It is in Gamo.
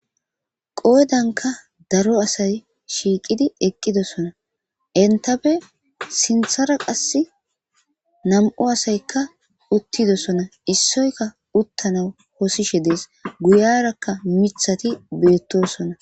Qoodanka daro asay shiqqidi eqqidosona enttappe sinththara qasi nam'u asayika uttidosona issioyka uttanaw wossishe dees guyaraka miththati bettosona.